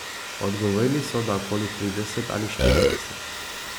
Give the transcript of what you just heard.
Odgovorili so, da okoli trideset ali štirideset.